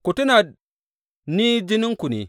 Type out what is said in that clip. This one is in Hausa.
Ku tuna, ni jininku ne.